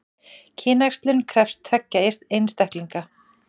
Kynæxlun krefst tveggja einstaklinga.